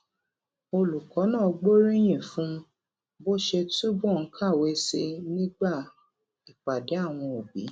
olùkó náà gbóríyìn fún bó ṣe túbò ń kàwé sí i nígbà ìpàdé àwọn òbí